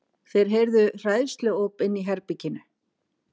Þeir heyrðu hræðsluóp inni í herberginu.